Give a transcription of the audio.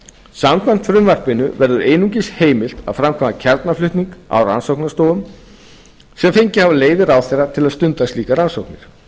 samkvæmt frumvarpinu verður einungis heimilt að framkvæma kjarnaflutning á rannsóknarstofum sem fengið hafa leyfi ráðherra til að stunda slíkar rannsóknir